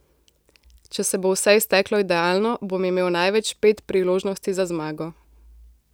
Če se bo vse izteklo idealno, bom imel največ pet priložnosti za zmago.